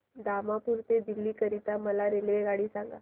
दिमापूर ते दिल्ली करीता मला रेल्वेगाडी सांगा